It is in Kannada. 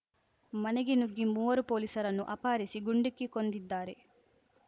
ಮನೆಗೇ ನುಗ್ಗಿ ಮೂವರು ಪೊಲೀಸರನ್ನು ಅಪಹರಿಸಿ ಗುಂಡಿಕ್ಕಿ ಕೊಂದಿದ್ದಾರೆ